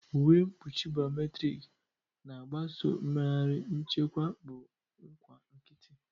Uwe mkpuchi biometrik na-agbaso mmegharị, nchekwa bụ nkwa nkịtị.